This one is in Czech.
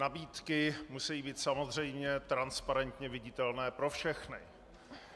Nabídky musejí být samozřejmě transparentně viditelné pro všechny.